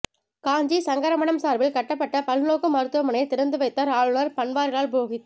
காஞ்சி சங்கர மடம் சார்பில் கட்டப்பட்ட பல்நோக்கு மருத்துவமனையை திறந்து வைத்தார் ஆளுநர் பன்வாரிலால் புரோகித்